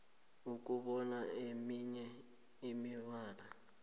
ukubona eminye imibala